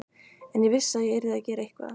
En ég vissi að ég yrði að gera eitthvað.